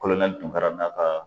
Dunkara n'a ka